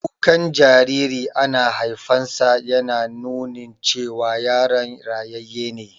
Kukan jariri ana haifansa yana nunin cewa yaron rayayye ne